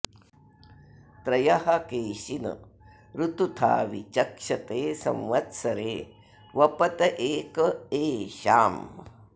त्रयः केशिन ऋतुथा वि चक्षते संवत्सरे वपत एक एषाम्